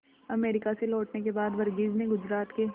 America से लौटने के बाद वर्गीज ने गुजरात के